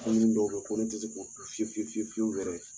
Koni dɔw bɛ ye ko ne tɛ se k'o fiye fiye fiye fiyew yɛrɛ.